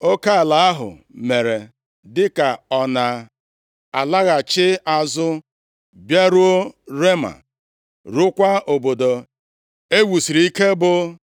Oke ala ahụ mere dịka ọ na-alaghachi azụ bịaruo Rema, ruokwa obodo e wusiri ike bụ